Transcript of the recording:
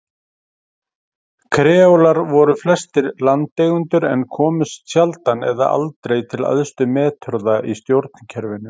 Kreólar voru flestir landeigendur en komust sjaldan eða aldrei til æðstu metorða í stjórnkerfinu.